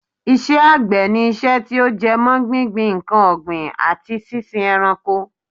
Iṣẹ́ àgbẹ̀ ni iṣẹ́ tí ó jẹ mọ́ gbíngbin nǹkan ọ̀gbìn, àti sísin ẹranko